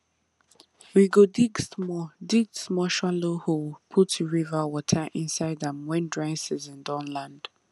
we go dig small dig small shallow hole put river water inside am when dry season don land